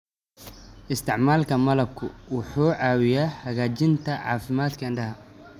Isticmaalka malabku wuxuu caawiyaa hagaajinta caafimaadka indhaha.